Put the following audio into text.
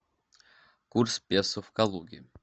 курс песо в калуге